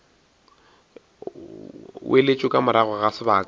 weletšo ka morago ga sebaka